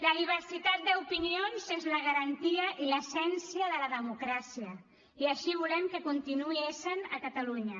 la diversitat d’opinions és la garantia i l’essència de la democràcia i així volem que continuï essent a catalunya